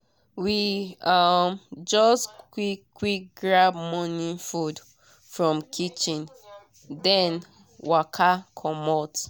we um just quick quick grab morning food from kitchen then waka comot.